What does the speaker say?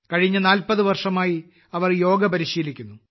കഴിഞ്ഞ 40 വർഷമായി അവർ യോഗ പരിശീലിക്കുന്നു